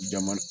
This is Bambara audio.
Jama